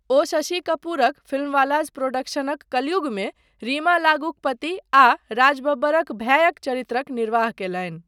ओ शशि कपूरक फिल्मवालाज़ प्रोडक्शनक कलयुगमे रीमा लागूक पति आ राज बब्बरक भायक चरित्रक निर्वाह कयलनि।